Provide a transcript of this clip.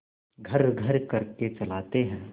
घर्रघर्र करके चलाते हैं